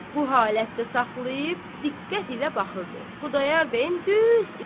Bu halətdə saxlayıb diqqət ilə baxırdı Xudayar bəyin düz üzünə.